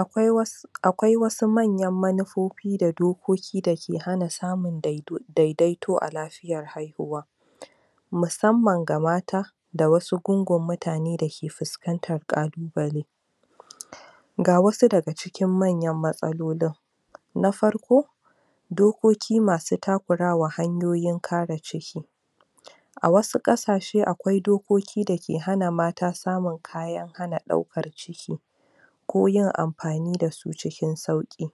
akwai wasu akwai wasu manyan manufofi da dokoki dake hana samun daidaito a lafiyar haihuwa musamman ga mata da wasu gungun mutane dake puskantan ƙalubale? ga wasu daga cikin manyan matsalolin na farko dokoki masu takurawa hanyoyin kare ciki a wasu ƙasashe akwai dokoki dake hana mata samun kayan hana ɗaukar ciki ko yin ampani dasu cikin sauƙi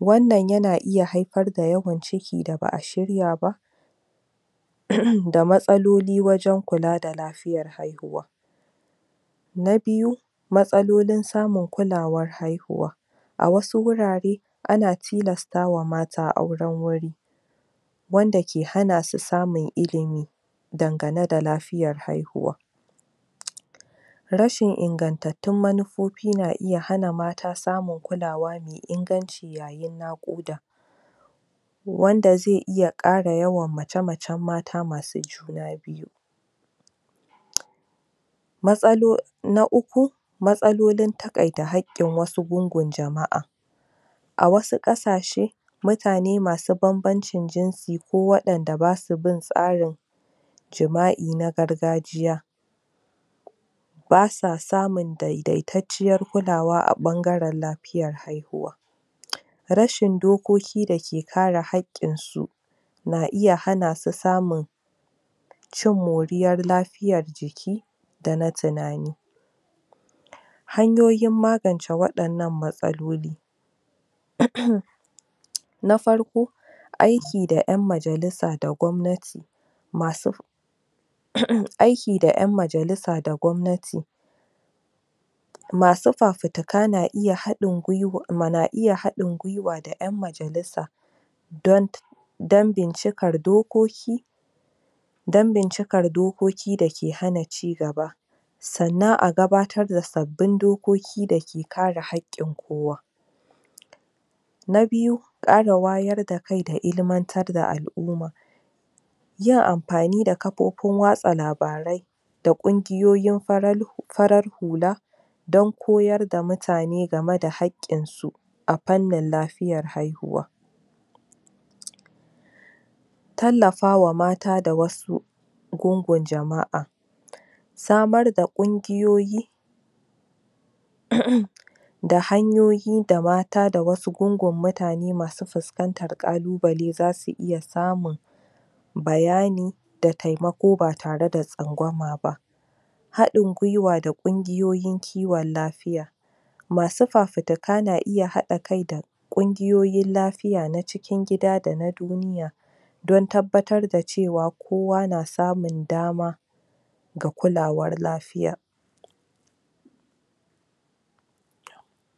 wannan yana iya haipar da yawan ciki da ba'a shirya ba da matsaloli wajen kula da lafiyar haihuwa na biyu matsalolin samun kulawar haihuwa a wasu wurare ana tilastawa mata auren wuri wanda ke hana su samun ilimi dangane da lafiyar haihuwa? rashin ingantattun manufofi na iya hana mata samun kulawa mai inganci yayin naƙuda wanda zai iya ƙara yawan mace macen mata masu juna biyu? matsaloli na uku matsalolin taƙaita haƙƙin wasu gungun jama'a a wasu ƙasashe mutane masu bambamcin jinsi ko waɗanda basu bin tsarin jima'i na gargajiya basa samun daidaitacciyar kulawa a ɓangaren lapiyar haihuwa? rashin dokoki dake kare haƙƙin su na iya hana su samun cin moriyar lafiyar jiki da na tinani hanyoyin magance waɗannan matsaloli?? na farko aiki da ƴan majalisa da gwamnati masu aiki da ƴan majalisa da gwamnati masu fafutika na iya haɗin gwiwa da ƴan majalisa don don bincikar dokoki don bincikar dokoki dake hana ci gaba sannan a gabatar da sabbin dokoki dake kare haƙƙin kowa na biyu ƙara wayar da kai da ilmantar da al'uma yin ampani da kapopin watsa labarai da ƙungiyoyin farar hula don koyar da mutane game da haƙƙin su a pannin lafiyar haihuwa? tallafawa mata da wasu gungun jama'a samar da ƙungiyoyi? da hanyoyi da mata da wasu gungun mutane masu fuskantar ƙalubale zasu iya samun bayani da taimako ba tare da tsangwama ba haɗin gwiwa da ƙungiyoyin kiwon lafiya masu fafutuka na iya haɗa kai da ƙungiyoyin lafiya na cikin gida da na duniya don tabbatar da cewa kowa na samun dama ga kulawar lafiya